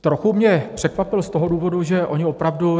Trochu mě překvapil z toho důvodu, že oni opravdu...